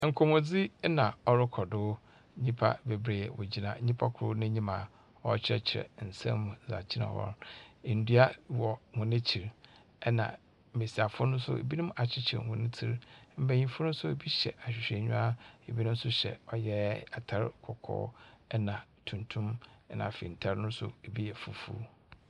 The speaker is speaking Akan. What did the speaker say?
Nkɔmɔdzi ɛna ɔrekɔ do nyipa bebree wogyina nyipa kor n'enyim a ɔrekyrrɛkyerɛ nsem mu akyerɛ wɔn. Endua wɔ wɔn ekyir, ɛna mmesiafo no nso ebinom akyekyer wɔn tsir, mmanyin fo no so ebi hyɛ ahwehwɛnyiwa, ebinom nso hyɛ ɔyɛ atar kɔkɔɔ na tuntum. Ɛna afei ntar no so ebi yɛ fufuw.